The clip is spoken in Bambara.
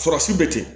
Fura sugu bɛ ten